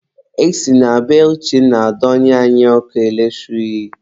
E si na be Uchenna donye anyị ọkụ eletrik.